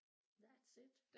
That's it